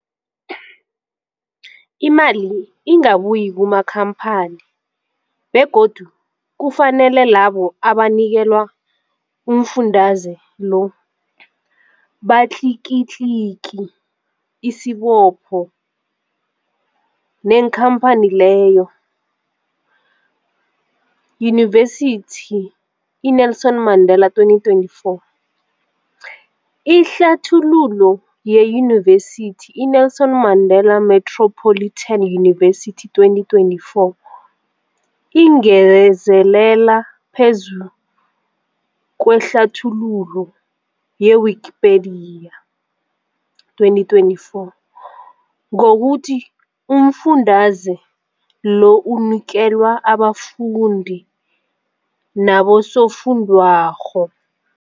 Imali ingabuyi kumakhamphani begodu kufanele labo abanikelwa umfundaze lo batlikitliki isibopho neenkhamphani leyo, Yunivesity i-Nelson Mandela 2024. Ihlathululo yeYunivesithi i-Nelson Mandela Metropolitan University 2024 ingezelele phezu kwehlathululo ye-Wikipedia 2024, ngokuthi umfundaze lo unikelwa abafundi nabosofundwakgho.